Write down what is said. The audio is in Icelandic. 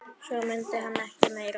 Svo mundi hann ekki meira.